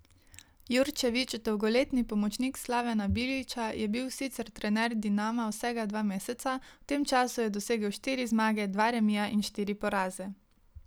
Jurčević, dolgoletni pomočnik Slavena Bilića, je bil sicer trener Dinama vsega dva meseca, v tem času je dosegel štiri zmage, dva remija in štiri poraze.